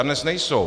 A dnes nejsou.